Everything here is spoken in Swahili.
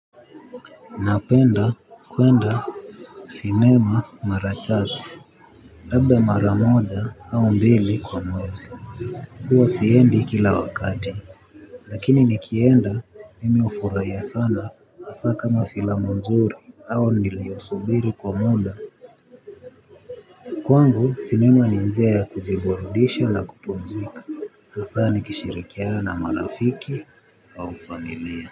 Napenda kwenda sinema mara chache labda maramoja au mbili kwa mwezi huwa siendi kila wakati. Lakini nikienda mimi ufuraia sana hasaa kama filamu nzuri au niliyosubiri kwa muda. Kwangu sinema ni njia ya kujiburudisha na kupumzika. Hasaa nikishirikiana na marafiki au familia.